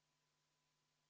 Aitäh, lugupeetud ettekandja!